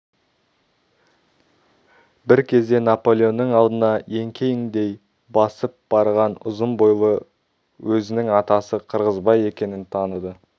бір кезде наполеонның алдына еңкеңдей басып барған ұзын бойлы өзінің атасы қырғызбай екенін таныды